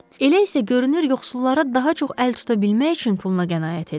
Elə isə görünür yoxsullara daha çox əl tuta bilmək üçün puluna qənaət edir.